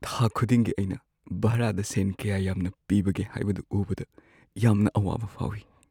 ꯊꯥ ꯈꯨꯗꯤꯡꯒꯤ ꯑꯩꯅ ꯚꯥꯔꯥꯗ ꯁꯦꯟ ꯀꯌꯥ ꯌꯥꯝꯅ ꯄꯤꯕꯒꯦ ꯍꯥꯏꯕꯗꯨ ꯎꯕꯗ ꯌꯥꯝꯅ ꯑꯋꯥꯕ ꯐꯥꯎꯏ꯫